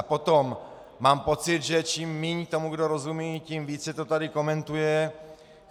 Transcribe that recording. A potom, mám pocit, že čím méně tomu kdo rozumí, tím více to tady komentuje.